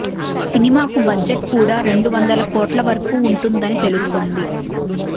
సినిమాకు బడ్జెట్ కూడా రెండు వందల కోట్ల వరకు వుంటుందని తెలుస్తోంది